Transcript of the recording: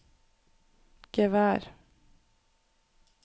gevær